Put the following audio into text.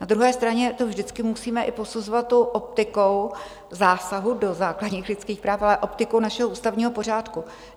Na druhé straně to vždycky musíme i posuzovat tou optikou zásahu do základních lidských práv, ale optikou našeho ústavního pořádku.